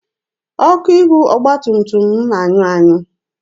Ọkụ ihu ọgba tum tum m na-anyụ anyụ.